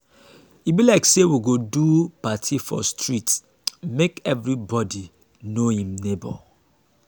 e be like sey we go do party for street make everybodi know im nebor.